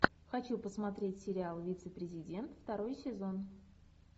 хочу посмотреть сериал вице президент второй сезон